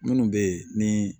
Minnu bɛ yen ni